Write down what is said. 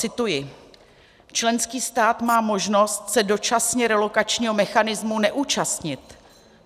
Cituji: Členský stát má možnost se dočasně relokačního mechanismu neúčastnit.